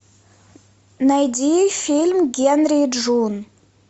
найди фильм генри и джун